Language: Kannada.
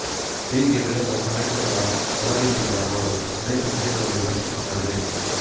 ಹೀಗೆ ಬೆಳೆದ ಸಾಹಿತ್ಯದ ಒಲವಿನಿಂದ ಅವರು ಅನೇಕ ಕೃತಿಗಳನ್ನು ರಚಿಸಿದರು